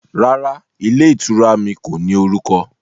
Rárá, ilé ìtura mi kò ní orúkọ